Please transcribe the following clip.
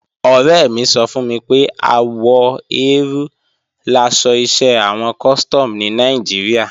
Ọ̀rẹ́ mi sọ fún mi pé àwọ eérú laṣọ iṣẹ́ àwọn Custom ní Nàìjíríà